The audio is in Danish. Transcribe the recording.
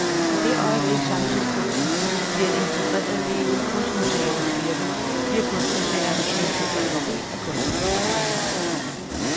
I det øjeblik samtidskunsten bliver en integreret del af kunstmuseernes virke, bliver kunstmuseerne en integreret del af kunstlivet.